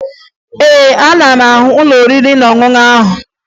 Ee, ana m ahụ ụlọ oriri na ọṅụṅụ ahụ